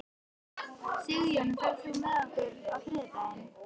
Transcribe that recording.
Sigjón, ferð þú með okkur á þriðjudaginn?